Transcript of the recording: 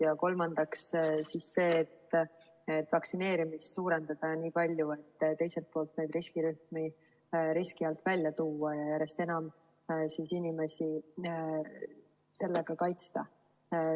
Ja kolmandaks see, et vaktsineerimist suurendada nii palju, et riskirühmi riski alt välja tuua ja järjest enam inimesi sellega kaitsta.